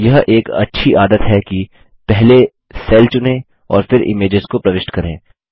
यह एक अच्छी आदत है कि पहले सेल चुनें और फिर इमेजेस को प्रविष्ट करें